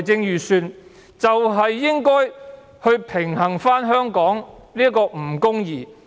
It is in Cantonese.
預算案應該平衡香港的不公義。